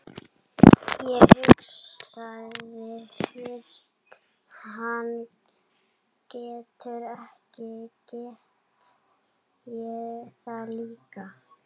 Ég hugsaði, fyrst hann getur þetta get ég það líka.